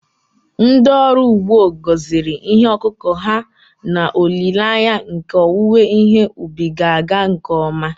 Ndị ọrụ ugbo gọziri ihe ọkụkụ ha n’olileanya nke owuwe ihe ubi ga-aga nke ọma